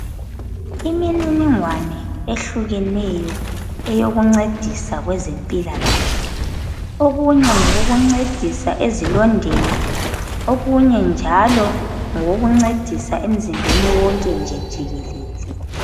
Imininingwane ehlukeneyo eyokuncedisa kwezempilakahle. Okunye ngokokuncedisa ezilondeni, okunye njalo ngokokuncedisa emzimbeni wonke nje jikelele.